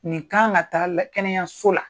Nin kan ka taa la kɛnɛyaso la.